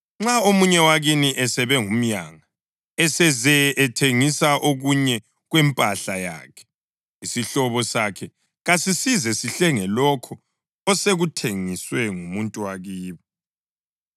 Nxa omunye wakini esebe ngumyanga eseze ethengisa okunye kwempahla yakhe, isihlobo sakhe kasisize sihlenge lokho osekuthengiswe ngumuntu wakibo.